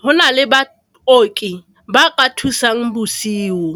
go na le baoki ba ka thusang bosigo.